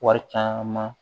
Wari caman